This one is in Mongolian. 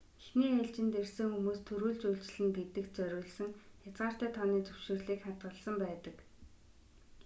эхний ээлжинд ирсэн хүмүүст түрүүлж үйлчилнэ гэдэгт зориулсан хязгаартай тооны зөвшөөрлийг хадгалсан байдаг